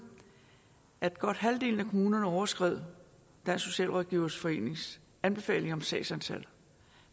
at godt halvdelen af kommunerne overskred dansk socialrådgiverforenings anbefalinger om sagsantal